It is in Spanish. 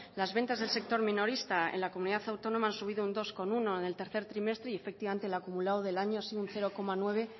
las ventas del sector minorista en la comunidad autónoma han subido un dos coma uno en el tercer trimestre y efectivamente el acumulado del año ha sido un cero coma nueve